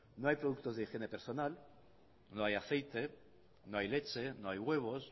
no hay productos de higiene personal no hay aceite no hay leche no hay huevos